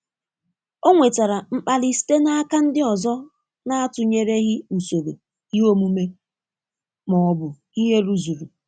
Ọ nwetara mkpali site n'aka ndị ọzọ n'atụnyereghị usoro ihe omume ma ọ bụ ihe rụzuru.